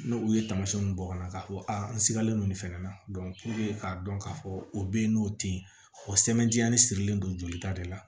N'o u ye tamasiyɛnw bɔ ka na k'a fɔ a nsigalen don nin fɛnɛ na k'a dɔn k'a fɔ o bɛ yen n'o tɛ ye o sɛbɛntiyalen sirilen don jolita de la